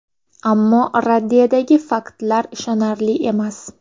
Ammo raddiyadagi faktlar ishonarli emas.